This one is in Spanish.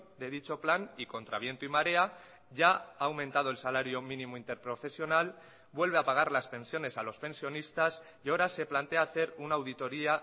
de dicho plan y contra viento y marea ya ha aumentado el salario mínimo interprofesional vuelve a pagar las pensiones a los pensionistas y ahora se plantea hacer una auditoría